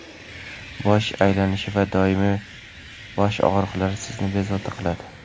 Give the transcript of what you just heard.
bosh aylanishi va doimiy boshog‘riqlar sizni bezovta qiladi.